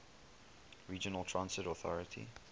regional transit authority